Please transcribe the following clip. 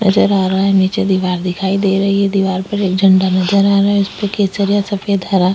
नजर आ रहा है नीचे दीवार दिखाई दे रही है दीवार पे एक झंडा नजर आ रहा है उसपे केसरिया सफ़ेद हरा --